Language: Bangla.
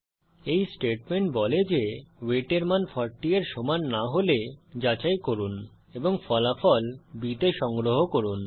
এই স্টেটমেন্ট বলে যে ওয়েট এর মান 40 এর সমান না হলে যাচাই করুন এবং ফলাফল b তে সংগ্রহ করুন